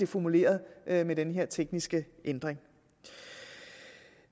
formuleret med den her tekniske ændring